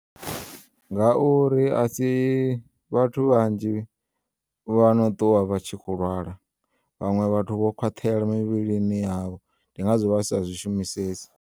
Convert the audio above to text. Nga uri asi vhathu vhanzhi vhano ṱuwa vha tshi kho u lwala, vhaṅwe vhathu vho khwaṱhela mivhilini yavho ndi ngazwo vha sa zwi shumisesi.